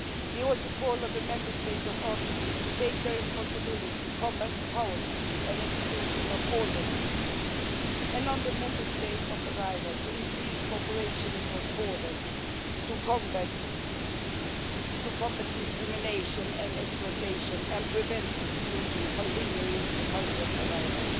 We also call on the Member States of origin to take their responsibility to combat poverty and exclusion of all their citizens, and on the Member States of arrival to increase cooperation across borders to combat discrimination and exploitation and prevent exclusion continuing in the country of arrival.